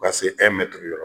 Paseke dɔrɔn